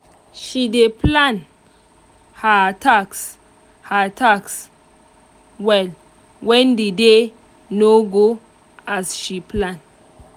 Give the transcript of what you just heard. she dey plan her task her task well when the day no go as she plan.